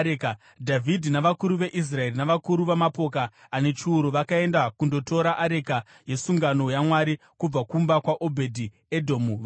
Dhavhidhi navakuru veIsraeri navakuru vamapoka ane chiuru vakaenda kundotora areka yesungano yaMwari kubva kumba kwaObhedhi-Edhomu, vachifara.